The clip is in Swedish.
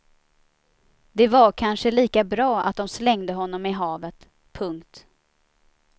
Det var kanske lika bra att de slängde honom i havet. punkt